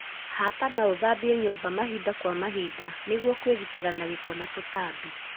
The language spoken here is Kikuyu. Hata na ũthambie nyũmba mahinda kwa mahinda nĩguo kwĩgitĩra na gĩko na tutambi.